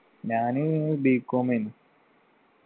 ഞാന് B. Com എനു